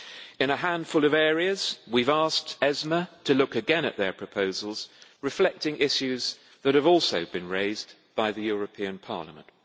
In a handful of areas we have asked ESMA to look again at their proposals reflecting issues that have also been raised by the European Parliament.